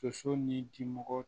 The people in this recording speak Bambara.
Soso ni dimɔgɔ